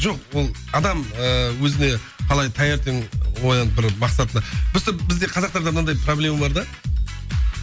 жоқ ол адам ыыы өзіне қалай таңертең оянып тұрып мақсатына просто бізде қазақтарда мынандай проблема бар да